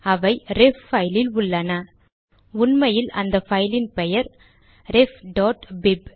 அவை ரெஃப் பைலில் உள்ளனஉண்மையில் அந்த பைலின் பெயர் refபிப்